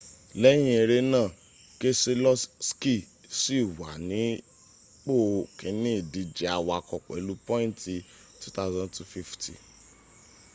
lẹ́yìn ere náà keseloski ṣi wà nípo kíní ìdíje awakọ̀ pẹ̀lú pointi 2,250